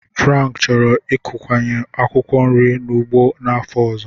Frank chọrọ ịkụnyekwu akwụkwọ nri ụgụ n'afọ ọzọ.